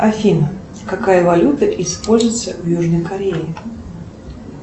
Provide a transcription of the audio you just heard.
афина какая валюта используется в южной корее